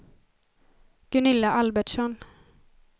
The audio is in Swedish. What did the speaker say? Gunilla Albertsson